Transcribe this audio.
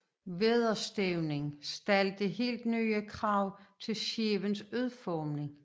Vædderstævnen stillede helt nye krav til skibenes udformning